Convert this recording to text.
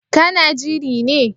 Ka na jiri ne?